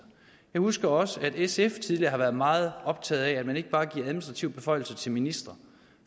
jeg husker også at sf tidligere har været meget optaget af at man ikke bare giver administrative beføjelser til ministre